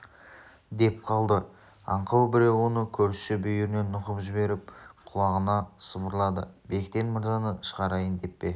деп қалды аңқау біреу оны көршісі бүйірінен нұқып жіберіп құлағына сыбырлады бектен мырзаны шығарайын деп пе